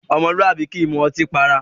Ọmọlúwàbí kì í mú ọtí para.